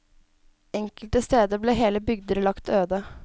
Enkelte steder ble hele bygder lagt øde.